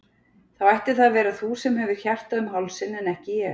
Þá ætti það að vera þú sem hefur hjartað um hálsinn en ekki ég.